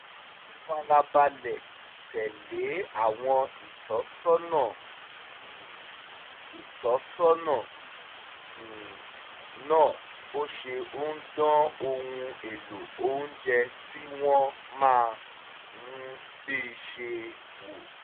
ó farabalẹ̀ tẹ̀lé àwọn ìtọ́sọ́nà um ìtọ́sọ́nà um náà bó ṣe ń dán ohun èlò oúnjẹ tí wọ́n máa fi sè é wò